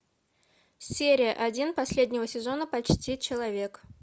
серия один последнего сезона почти человек